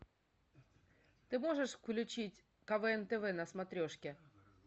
ты можешь включить квн тв на смотрешке